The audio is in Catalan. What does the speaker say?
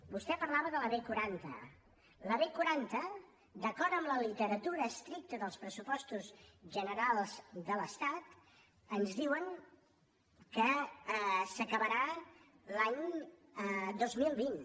vostè parlava de la b quaranta la b quaranta d’acord amb la literatura estricta dels pressupostos generals de l’estat ens diuen que s’acabarà l’any dos mil vint